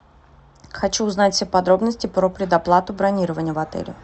хочу узнать все подробности про предоплату бронирования в отеле